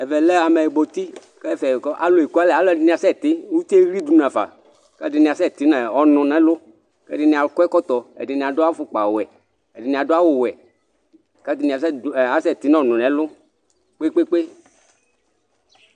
ɛvɛ lɛ ameyibɔtĩ, k'ɛfɛ alu eku alɛ, aluɛdini asɛ ti, utieɣlidu n'afa, k'ɛdini asɛ ti n'ɔnu n'ɛlu, ɛdini akɔ ɛkɔtɔ, ɛdini adu afukpa wɛ, ɛdini adu awù wɛ k'atani asɛ ti n'ɔnu n'ɛlu kpekpekpekps